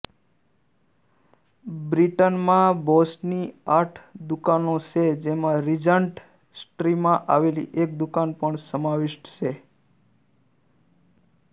બ્રિટનમાં બોસની આઠ દુકાનો છે જેમાં રીજન્ટ સ્ટ્રીટમાં આવેલી એક દુકાન પણ સમાવિષ્ટ છે